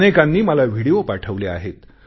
अनेकांनी मला विडिओ पाठवले आहेत